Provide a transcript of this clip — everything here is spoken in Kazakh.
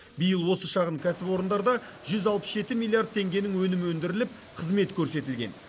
биыл осы шағын кәсіпорындарда жүз алпыс жеті миллиард теңгенің өнімі өндіріліп қызмет көрсетілген